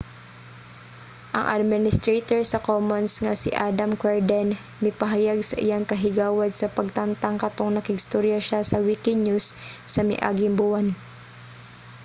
ang administrator sa commons nga si adam cuerden mipahayag sa iyang kahigawad sa pagtangtang katong nakig-istorya siya sa wikinews sa miaging buwan